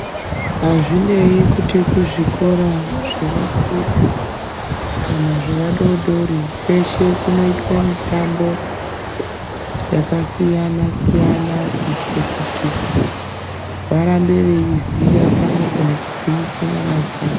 Hazvinei kuti kuzvikora zvevakuru kana zvevadodori kweshe kunoitwe mutambo yakasiyana siyana kuitira kuti varambe veiziya pamwepo nekugwinisa nyama dzawo.